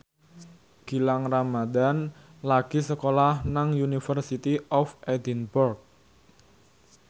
Gilang Ramadan lagi sekolah nang University of Edinburgh